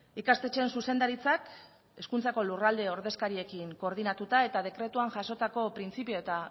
ikastetxeen zuzendaritzak hezkuntzako lurralde ordezkariekin koordinatuta eta dekretuan jasotako printzipio eta